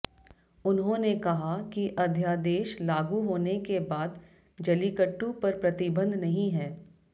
उन्होंने कहा कि अध्यादेश लागू होने के बाद जल्लीकट्टू पर प्रतिबंध नहीं है